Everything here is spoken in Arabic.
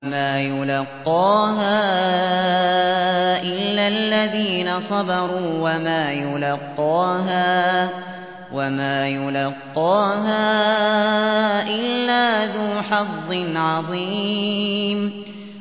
وَمَا يُلَقَّاهَا إِلَّا الَّذِينَ صَبَرُوا وَمَا يُلَقَّاهَا إِلَّا ذُو حَظٍّ عَظِيمٍ